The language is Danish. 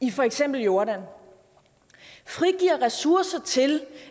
i for eksempel jordan frigiver ressourcer til